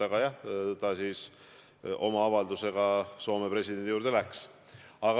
Aga jah, ta siis oma avaldusega Soome presidendi juurde läks.